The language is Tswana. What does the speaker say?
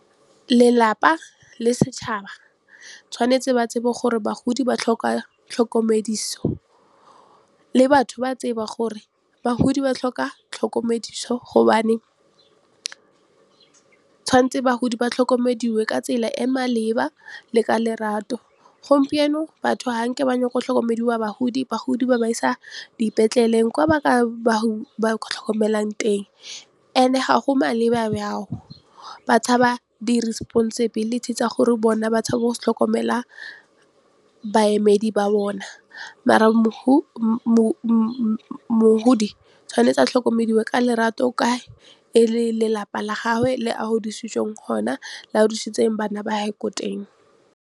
Lelapa le setšhaba tshwanetse ba tsebe gore bagodi ba tlhoka tlhokomediso, le batho ba tseba gore bagodi ba tlhoka tlhokomediso gobane tshwanetse bagodi ba tlhokomediwe ka tsela e maleba le ka lerato. Gompieno batho ba batla go tlhokomediwa bagodi, bagodi ba ba isa dipetleleng kwa ba tlhokomelang teng and-e ga go maleba bjao ba tshaba di-responsibility tsa gore bona ba tshaba go tlhokomela baemedi ba bona mara mohodi tshwanetse a tlhokomediwe ka lerato ka e le lelapa la gagwe le a godisitsweng ko lona le a godisitseng bana ba gage ko teng.